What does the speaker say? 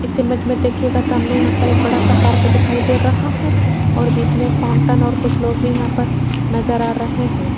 इस इमेज में देखिएगा सामने यहां पर एक बड़ा सा पार्क दिखाई दे रहा है और बीच में एक फाउंटेन और कुछ लोग भी यहां पर नजर आ रहे हैं।